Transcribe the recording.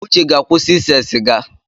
Uche ga-akwụsị ịse sịga.